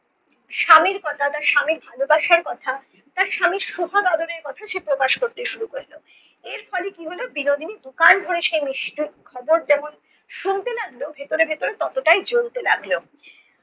স্বামীর কথা স্বামীর ভালোবাসার কথা তার স্বামীর সোহাগ আদরের কথা সে প্রকাশ করতে শুরু করলো। এর ফলে কী হলো বিনোদিনী দুকান ভরে সে খবর যেমন শুনতে লাগল ভেতরে ভেতরে ততটাই জ্বলতে লাগল